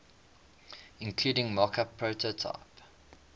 including mockup prototype